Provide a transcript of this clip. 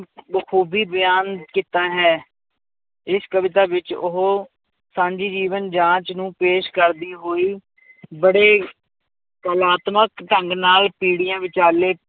ਖੂਬੀ ਬਿਆਨ ਕੀਤਾ ਹੈ, ਇਸ ਕਵਿਤਾ ਵਿੱਚ ਉਹ ਸਾਂਝੀ ਜੀਵਨ ਜਾਂਚ ਨੂੰ ਪੇਸ਼ ਕਰਦੀ ਹੋਈ ਬੜੇ ਕਲਾਤਮਕ ਢੰਗ ਨਾਲ ਪੀੜ੍ਹੀਆਂ ਵਿਚਾਲੇ